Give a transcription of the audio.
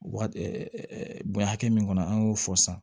Wa bonya hakɛ min kɔnɔ an y'o fɔ sisan